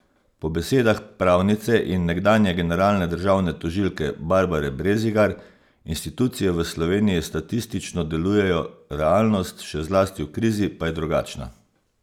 Po besedah pravnice in nekdanje generalne državne tožilke Barbare Brezigar institucije v Sloveniji statistično delujejo, realnost, še zlasti v krizi, pa je drugačna.